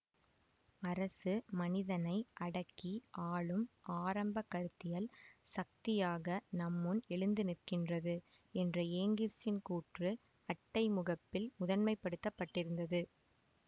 அரசு மனிதனை அடக்கி ஆளும் ஆரம்ப கருத்தியல் சக்தியாக நம்முன் எழுந்துநிற்கின்றது என்ற ஏங்கிஸ்சின் கூற்று அட்டை முகப்பில் முதன்மைப்படுத்தப்பட்டிருந்தது